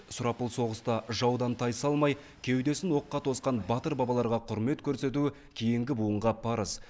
сұрапыл соғыста жаудан тайсалмай кеудесін оққа тосқан батыр бабаларға құрмет көрсету кейінгі буынға парыз